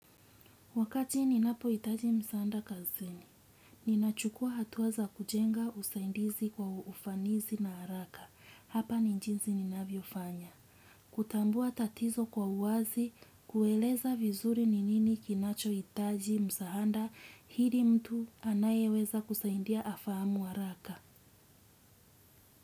Wakati ninapo itaji msaanda kazini, ninachukua hatua za kujenga usaidizi kwa uufanisi na haraka. Hapa ni njinzi ninavyo fanya. Kutambua tatizo kwa uazi, kueleza vizuri ni nini kinacho itaji msaanda, hili mtu anayeweza kusaindia afaamu haraka.